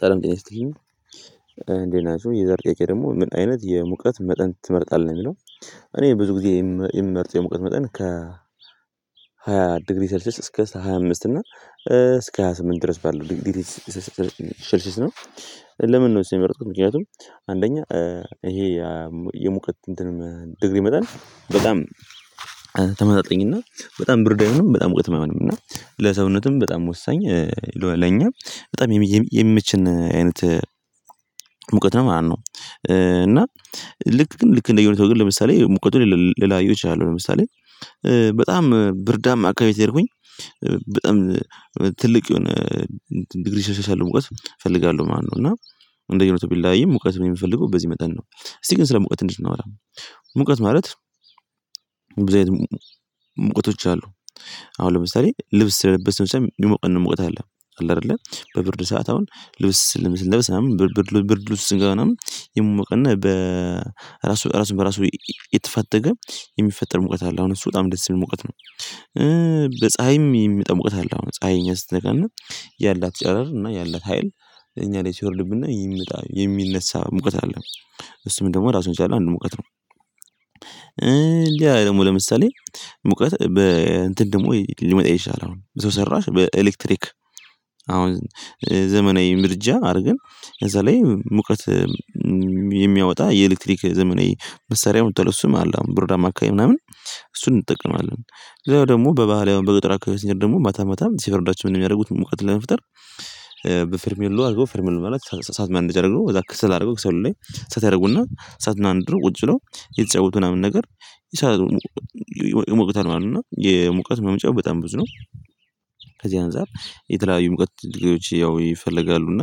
ሰለም ጤና ይስጥልኝ፤ እንዴት ናችው? የዘር ጥያቄ ደግሞ ምን አይነት የሙቀት መጠን ትመርጣለህ? የሚለው እኔ ብዙ ጊዜ የምመርጥ የሙቀት መጠን ከ ሃያ ዲግሪ ሰርችስ እስከ ሃያ አምስት እና እስከ ሃያ ስምንት ድረስ ባለው ዲግሪ ሽልሽየስ ነው። ለምን ነው እሱ የመረጥኩት? ምክንያቱም አንደኛ ይሄ የሙቀት እንትንም ዲግሪ መጠን በጣም ተመጣጣኝ እና በጣም ብርድ አይሁንም በጣም ሙቅትም አይሆንም፤ እና ለሰውነትም በጣም ወሳኝ ለኛ በጣም የሚምችን አይነት ሙቀት ነው ማለት ነው። እና ልክ ግን ልክ እንደየሆኔታው ለምሳሌ ሙቀቱን ልላየው እችላለሁ። ለምሳሌ በጣም ብርዳማ አካባቢ ከሄድኩኝ በጠም ትልቅ የሆነ ዲግሪ ሴልሺየስ ያለው ሙቀት እፈልጋለሁ። ማለው፤ እና እንደ ሁኔታው ቢለያይም አየህ ሙቀት የሚፈልገው በዚህ መጠን ነው። እስቲ ግን ስለ ሙቀት ትንሽ እናወራ። ሙቀት ማለት ሙቀቶች አሉ፤ አሁን ለምሳሌ ልብስ ስለለበስን ሳይው ሊሞቀን ሙቀት አለ፤ አለአይደለ በብርድ ሰዓት አሁን ልብስ ልብስ ልብስ ብርድ ብርድ ውስጥ ስጋናም ይሞቅና በ ራሱ ራሱን በራሱ የተፈተገ የሚፈጠር ሙቀት አለ አሁን እሱ በጣም ደስ የሚል ሙቀት ነው። በፀሀይም የሚመጣ ሙቀት አለ አሁን ፀሀይ እኛን ስትነካነ ያላት ጨረር እና ያላት ሀይል እኛ ላይ ሲወርድብነ የሚመጣ የሚነሳ ሙቀት አለ። እሱም ደግሞ ራሱን የቻለ አንድ ሙቀት ነው። ሌላ ደግሞ ለምሳሌ ሙቀት በ እንትን ደግሞ ሊመጣ ይችላል። አሁን ሰው ሰራሽ በኤሌክትሪክ አሁን ዘመናዊ ምድጃ አድርገን እዛ ላይ ሙቀት የሚያወጣ የኤሌክትሪክ ዘመናዊ መሳሪያ መጧል እሱም አለ። አሁን ብርዳማ አካባቢ ምናምን እሱን እንጠቀማለን። ሌላው ደግሞ በባህል አሁን በገጠር አካባቢ ስንሄድ ደግሞ ማታ ማታ ሲበርዳቸው እንደ ሚያደርጉት ሙቀት ለመፍጠር በፈርሜሎ አርገው ፈርሜሎ ማለት እሳት ማንደጃ አድርገው እዛ ክሰል አድርገው ክሰሉ ላይ እሳት ያረጉና እሳቱን አንድደው ቁጭ ብለው እየተጫወቱ ምናምን ነገር ይሞቁታል ማለት ነው። እና የሙቀት ማውጫው በጣም ብዙ ነው። ከዚህ አንፃር የተለያዩ ሙቀት ያው ይፈልጋሉ እና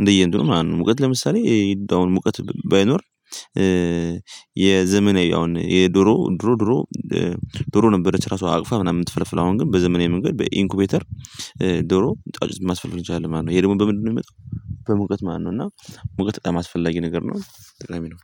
እንደየ እንትኑ ማለት ነው ሙቀት ለምሳሌ አሁን ሙቀት ባይኖር። የዘመናይ አሁን የድሮ ድሮ ድሮ ነበረች ራሷ አቅፋ ምናምን ምትፈለፍለው አሁን ግን በዘመናዊ መንገድ በኢንኩቤተር ዶሮ ጫጩት ማስፈልፈል እንችላለን ማለት ነው። ይሄ ደግሞ በምንድነው የሚመጣው? በሙቀት ማለት ነው እና ሙቀት በጣም አስፈላጊ ነገር ነው። ጠቃሚ ነው